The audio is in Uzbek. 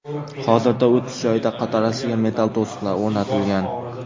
Hozirda o‘tish joyida qatorasiga metall to‘siqlar o‘rnatilgan.